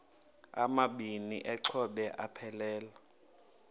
amabini exhobe aphelela